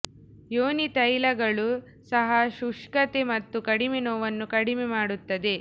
ಯೋನಿ ತೈಲಗಳು ಸಹ ಶುಷ್ಕತೆ ಮತ್ತು ಕಡಿಮೆ ನೋವನ್ನು ಕಡಿಮೆ ಮಾಡುತ್ತದೆ